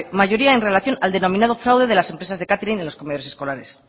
mayoría en relación al denominado fraude de las empresas de catering en los comedores escolares